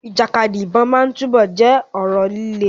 Ìjàkadì ìbọn máa túbọ̀ jẹ́ ọ̀rọ̀ líle.